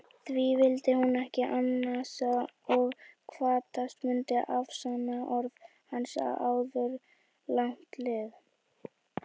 Því vildi hún ekki ansa og kvaðst mundu afsanna orð hans áður langt liði.